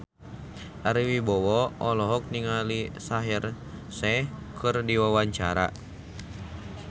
Ari Wibowo olohok ningali Shaheer Sheikh keur diwawancara